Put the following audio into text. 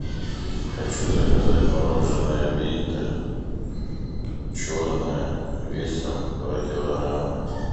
хочу заказать мороженое винтер черное весом два килограмма